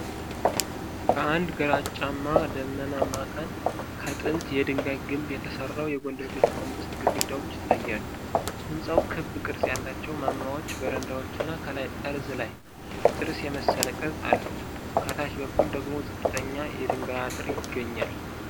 በአንድ ግራጫማና ደመናማ ቀን ከጥንት የድንጋይ ግንብ የተሰራው የጎንደር ቤተመንግስት ግድግዳዎች ይታያሉ። ሕንፃው ክብ ቅርጽ ያላቸው ማማዎች፣ በረንዳዎች እና ከላይ ጠርዝ ላይ ጥርስ የመሰለ ቅርጽ አሉት። ከታች በኩል ደግሞ ዝቅተኛ የድንጋይ አጥር ይገኛል።